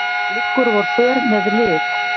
liggur vor för með lið